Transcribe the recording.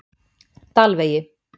Dalvegi